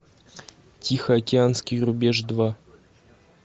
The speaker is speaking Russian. тихоокеанский рубеж два